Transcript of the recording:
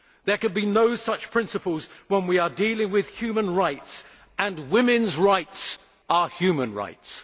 There can be no such principles when we are dealing with human rights, and women's rights are human rights.